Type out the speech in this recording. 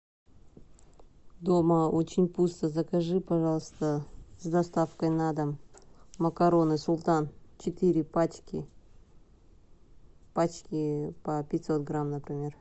дома очень пусто закажи пожалуйста с доставкой на дом макароны султан четыре пачки пачки по пятьсот грамм например